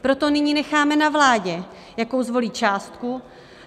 Proto nyní necháme na vládě, jakou zvolí částku.